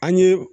An ye